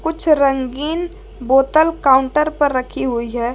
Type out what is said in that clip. कुछ रंगीन बोतल काउंटर पर रखी हुई है।